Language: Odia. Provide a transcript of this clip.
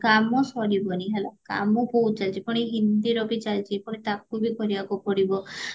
କାମ ସାରିବନି କାମ ସରିବନି ହେଲା କାମ ବହୁତ ଚାଳିଚି କଣ ଏଇ ହିନ୍ଦୀର ବି ଚାଳିଚି ପୁଣି ତାକୁ ବି କରିବାକୁ ପଡିବ